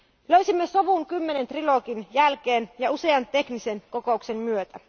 Löysimme sovun 10 trilogin jälkeen ja usean teknisen kokouksen myötä.